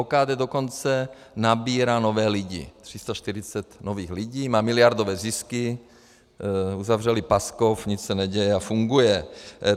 OKD dokonce nabírá nové lidi, 340 nových lidí, má miliardové zisky, uzavřeli Paskov, nic se neděje a funguje.